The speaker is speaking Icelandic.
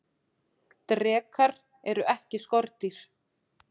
drekar eru ekki skordýr